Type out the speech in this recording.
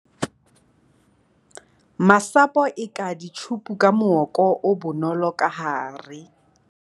masapo eka ditjhupu ka mooko o bonolo ka hare